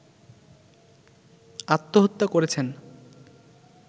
আত্মহত্যা করেছেন